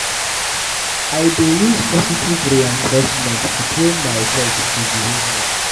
I dey use positive reinforcement to train my pet to behave well.